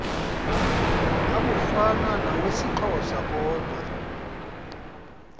abufana nawesixhosa kodwa